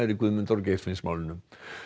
í Guðmundar og Geirfinnsmálinu